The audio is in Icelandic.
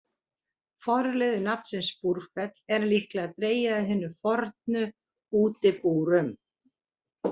Forliður nafnsins Búrfell er líklega dregið af hinum fornu útibúrum.